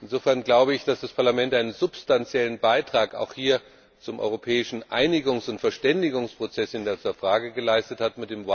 Insofern glaube ich, dass das Parlament auch hier einen substanziellen Beitrag zum europäischen Einigungs und Verständigungsprozess in dieser Frage geleistet hat.